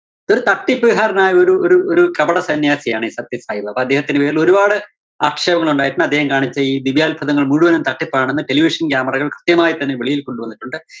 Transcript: ഒരു തട്ടിപ്പുകാരനായ ഒരു ഒരു ഒരു കപടസന്ന്യാസിയാണ് ഈ സത്യസായിബാബ. അദ്ദേഹത്തിന്റെ പേരിലൊരുപാട് ആക്ഷേപങ്ങളുണ്ടായിട്ടുണ്ട്. അദ്ദേഹം കാണിച്ച ഈ ദിവ്യാത്ഭുതങ്ങള്‍ മുഴുവനും തട്ടിപ്പാണെന്ന് television camera കള്‍ കൃത്യമായി തന്നെ വെളിയില്‍ കൊണ്ടുവന്നിട്ടുണ്ട്.